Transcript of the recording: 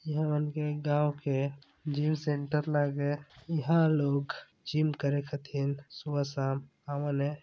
ई हमन गाँव के जिम सेंटर लागे इंहा लोग जिम करे खातिर सुबह- शाम आवेले।